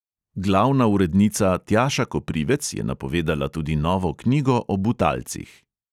Glavna urednica tjaša koprivec je napovedala tudi novo knjigo o butalcih.